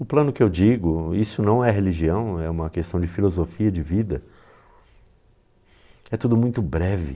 O plano que eu digo, isso não é religião, é uma questão de filosofia de vida, é tudo muito breve.